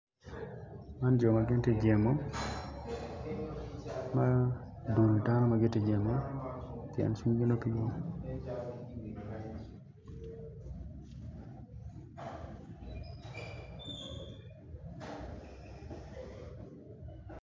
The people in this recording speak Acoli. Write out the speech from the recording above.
Man jo ma gin ti jemo ma dul dano ma giti jemo pien cwingi nongo pe yom